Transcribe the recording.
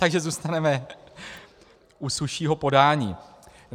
Takže zůstaneme u suššího podání.